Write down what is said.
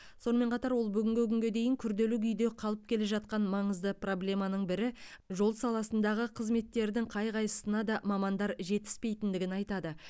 сонымен қатар ол бүгінгі күнге дейін күрделі күйде қалып келе жатқан маңызды проблеманың бірі жол саласындағы қызметтердің қай қайсына да мамандар жетіспейтіндігін айтады